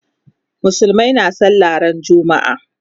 Musulmai na sallah ran juma'a.